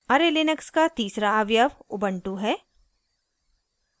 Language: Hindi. array लिनक्स का तीसरा अवयव ubuntu है